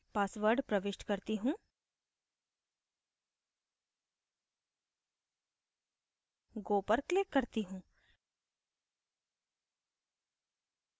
password प्रविष्ट करती हूँ go पर क्लिक करती हूँ